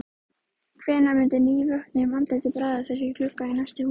Hvenær myndi nývöknuðum andlitum bregða fyrir í gluggum næstu húsa?